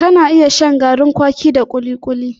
Ka na iya shan garin kwaki da kuli-kuli